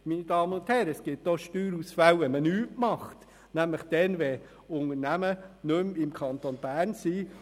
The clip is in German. Meine Damen und Herren, es gibt auch Steuerausfälle, wenn man nichts unternimmt, nämlich dann, wenn Unternehmen nicht mehr im Kanton Bern sind.